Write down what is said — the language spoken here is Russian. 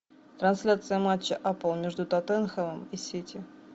трансляция матча апл между тоттенхэмом и сити